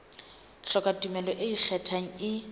hloka tumello e ikgethang e